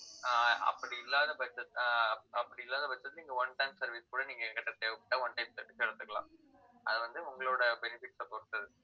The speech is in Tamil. ஆஹ் அப்படி இல்லாத பட்சத்துல, ஆஹ் அப்படி இல்லாத பட்சத்துல நீங்க one time service கூட, நீங்க என்கிட்ட தேவைப்பட்டா one time service க்கு எடுத்துக்கலாம். அது வந்து உங்களோட benefits அ பொறுத்தது